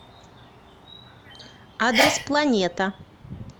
адрес планета